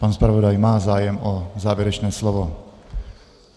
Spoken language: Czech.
Pan zpravodaj má zájem o závěrečné slovo.